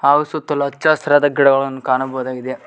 ಹಾಗು ಸುತ್ತಲು ಹಚ್ಚಸಿರಾದ ಗಿಡಗಳನ್ನು ಕಾಣಬಹುದಾಗಿದೆ.